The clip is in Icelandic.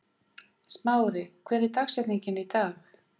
Smári, hver er dagsetningin í dag?